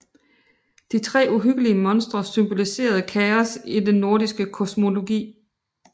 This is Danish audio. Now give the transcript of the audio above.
De tre uhyggelige monstre symboliserede chaos i den nordiske kosmologi